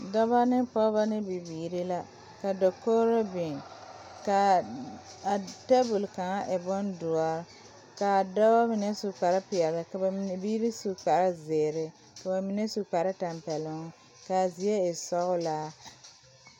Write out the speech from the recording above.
Dɔba ne pɔgeba ne bibiiri la ka dakogro biŋ kaa tabol kaŋa e boŋ doɔre kaa dɔba mine su kpare peɛl ka mine biiri su kpare zēēre ka ba mine su kpare tampɛloŋ ka zie e sɔglaa.